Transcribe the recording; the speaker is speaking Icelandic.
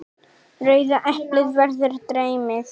Rauða eplið verður dreymið.